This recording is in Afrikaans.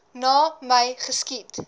na my geskiet